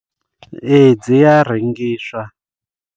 Ee dzi a rengiswa.